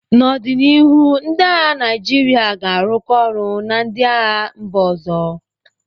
N'ọdịnihu, ndị agha Naijiria ga-arụkọ ọrụ na ndị agha mba ọzọ.